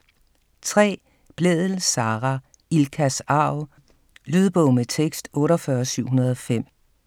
3. Blædel, Sara: Ilkas arv Lydbog med tekst 48705